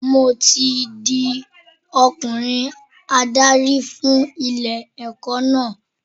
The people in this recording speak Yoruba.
Mo ti di ọkùnrin adarí fún ilé ẹ̀kọ́ náà.